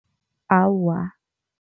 Awa.